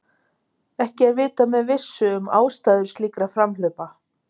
Ekki er vitað með vissu um ástæður slíkra framhlaupa